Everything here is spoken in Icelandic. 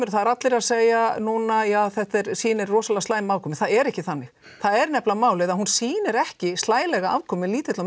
það eru allir að segja núna að þetta sýni rosalega slæma afkomu það er ekki þannig það er nefnilega málið að hún sýnir ekki slælega afkomu lítilla og